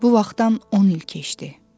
Bu vaxtdan 10 il keçdi.